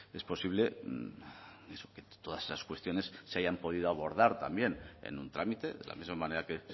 es posible y eso que todas esas cuestiones se hayan podido abordar también en un trámite de la misma manera que